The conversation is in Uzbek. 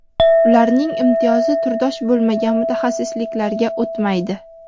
ularning imtiyozi turdosh bo‘lmagan mutaxassisliklarga o‘tmaydi.